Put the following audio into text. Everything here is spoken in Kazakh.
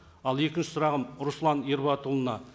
ал екінші сұрағым руслан ерболатұлына